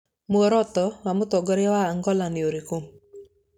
Muoroto wa Mũtongoria wa Angola nĩ ũrĩkũ?